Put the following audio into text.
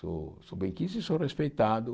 Sou sou benquisto e sou respeitado.